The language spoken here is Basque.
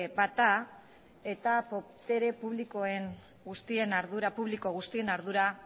bat da eta botere publiko guztien ardura